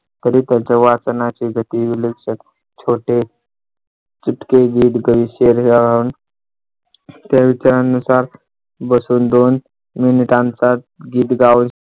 तरी त्याच्या वाचनाची गती विलक्षण छोटे इतके तरी त्यानुसार बसून दोन मिनिटांचा